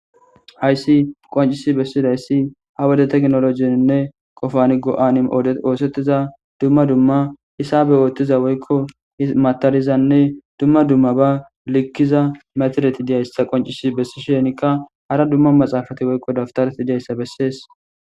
hayssi qoncisi bessidayssi ha wode teknolojieinne qofani go7ani ode oosettiza dumma dumma hisabe oothtiza woykko himatarizanne dumma dumma ba likkiza matereti diyayssa qoncisi bessi shenikka hara dumma maxaafati woykko daftaret diyayssa bessees